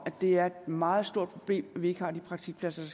at det er et meget stort problem at vi ikke har de praktikpladser